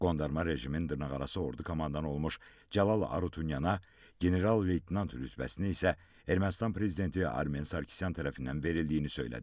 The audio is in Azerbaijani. Qondarma rejimin dırnaqarası ordu komandanı olmuş Cəlal Harutyunyana general-leytenant rütbəsini isə Ermənistan prezidenti Armen Sarkisyan tərəfindən verildiyini söylədi.